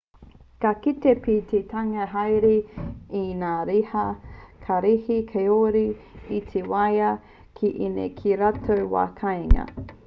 ka kite pea te hunga hāereere i ngā riha kararehe kāore i te waia ki ēnei ki ō rātou wā kāinga